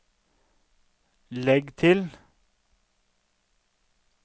legg til